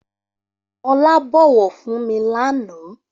Olá bọ̀wọ̀ fún mi lànà